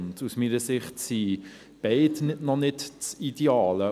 Aus meiner Sicht ist beides noch nicht das Ideale.